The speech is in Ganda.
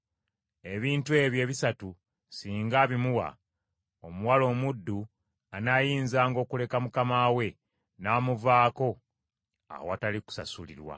Ebintu ebyo ebisatu singa abimumma, omuwala omuddu anaayinzanga okuleka mukama we n’amuvaako awatali kusasulirwa.